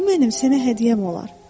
Bu mənim sənə hədiyyəm olar.